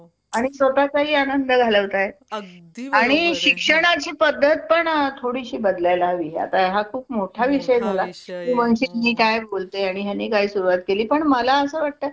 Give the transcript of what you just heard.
आणि मला त्याच्या operation बद्दल inquiry करायची होती कि काय कस लागेल आणि कशी राहील process?